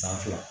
San fila